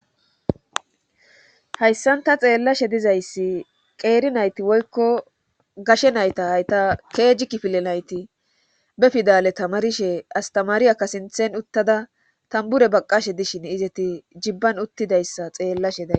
hayssan ta xeellashe dizayssi qeeri nayti woykko gashe nayta hayta keeji kifile nayti be fidale tamarishe astamaariya ka sinthen uttada tambure baqqashe dishin izeti jibban uttidayssa xeellashe da